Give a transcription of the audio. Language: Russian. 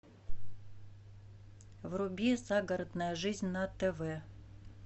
вруби загородная жизнь на тв